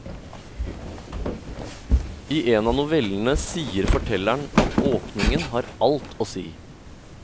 I en av novellene sier fortelleren at åpningen har alt å si.